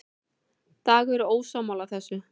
Dagur er ósammála þessu.